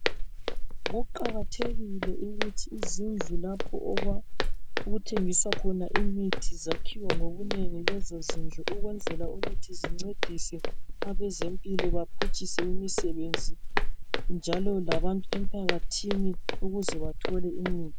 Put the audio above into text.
Kuqakathekile ukuthi izindlu lapho okwa okuthengiswa khona imithi zakhiwe ngobunengi lezo zindlu. Ukwenzela ukuthi zincedise abezempilo baphutshise imisebenzi njalo labantu emphakathini ukuze bathole imithi.